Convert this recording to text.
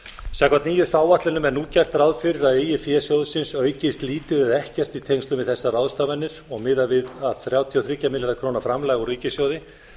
samkvæmt nýjustu áætlunum er nú gert ráð fyrir að eigið fé sjóðsins aukist lítið eða ekkert í tengslum við þessar ráðstafanir og miðað við að þrjátíu og þrjá milljarða króna framlag úr ríkissjóði má